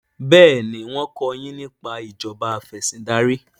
béèni wón ko yín nípa Ìṣèjọba Afẹ̀sìndarí.